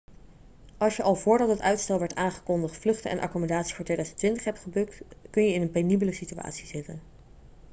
als je al voordat het uitstel werd aangekondigd vluchten en accommodatie voor 2020 hebt geboekt kun je in een penibele situatie zitten